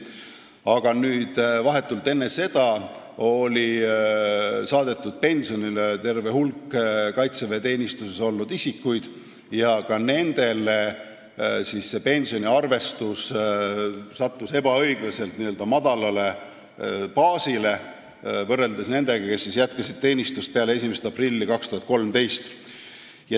Aga vahetult enne seda saadeti pensionile terve hulk kaitseväeteenistuses olnud isikuid ja ka nende pensione arvestati ebaõiglaselt n-ö madalalt baasilt võrreldes nendega, kes jätkasid teenistust peale 1. aprilli 2013.